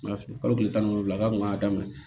N m'a fili kalo tile tan ni wolowula k'a tun y'a daminɛ